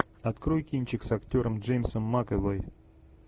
открой кинчик с актером джеймсом макэвоем